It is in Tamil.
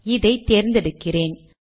இதை தேர்ந்தெடுக்கிறேன்